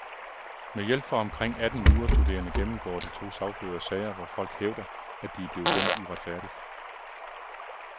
Med hjælp fra omkring atten jurastuderende gennemgår de to sagførere sager, hvor folk hævder, at de er blevet dømt uretfærdigt.